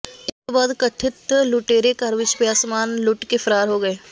ਇਸ ਤੋਂ ਬਾਅਦ ਕਥਿਤ ਲੁਟੇਰੇ ਘਰ ਵਿਚ ਪਿਆ ਸਾਮਾਨ ਲੁੱਟ ਕੇ ਫ਼ਰਾਰ ਹੋ ਗਏ